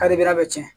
Kari a bɛ tiɲɛ